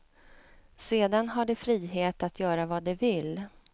Sedan har de frihet att göra vad de vill.